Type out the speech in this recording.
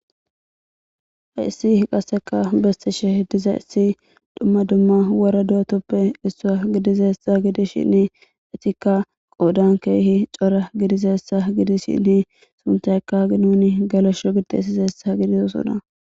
Haissi qasseka bestishe diza issi dhumma dumma wora duwatoppe issua gidizessa gidishinni etikka qoodan keehi cora gidizessa gidishinni suntaykkagi nuni galoshsho gidesizeessa gidizosona.